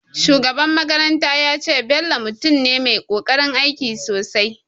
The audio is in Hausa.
Shugaban makaranta ya ce, Bello mutum ne mai ƙoƙarin aiki sosai